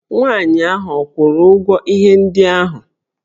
Nwaanyị ahụ ọ kwụrụ ụgwọ ihe ndị ahụ?